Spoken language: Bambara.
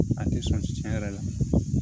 A tɛ sɔn tiɲɛ yɛrɛ la